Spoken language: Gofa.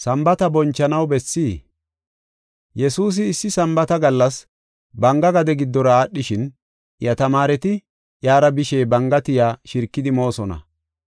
Yesuusi issi Sambaata gallas banga gade giddora aadhishin, iya tamaareti iyara bishe banga tiya shirkidi moosona.